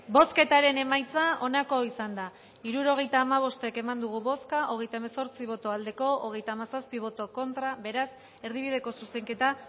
bozketaren emaitza onako izan da hirurogeita hamabost eman dugu bozka hogeita hemezortzi boto aldekoa treinta y siete contra beraz erdibideko zuzenketa